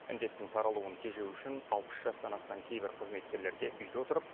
індеттің таралуын тежеу үшін алпыс жастан асқан кейбір қызметкерлерге үйде отырып